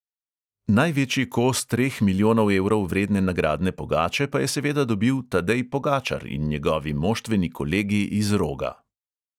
Največji kos treh milijonov evrov vredne nagradne pogače pa je seveda dobil tadej pogačar in njegovi moštveni kolegi iz roga.